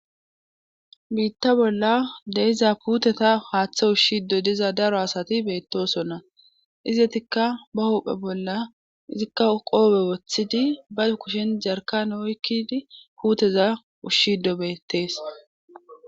biitta bolla deiza puuteta haaththe ushshido diza daro asati beettosonna izetikka ba huphe bolla izikka qoobe woththidi bazu kushen jarkan oykkidi puuteza ushshido beettees